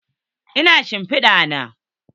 Ina shimpida na?